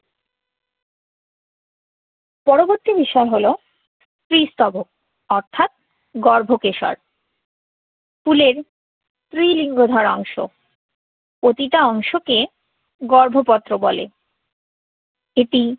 পরবর্তী বিষয় হলো স্ত্রীস্তবক অর্থাৎ গর্ভকেশর। ফুলের স্ত্রীলিঙ্গ ধরা অংশ। প্রতিটা অংশকে গর্ভপত্র বলে। এটি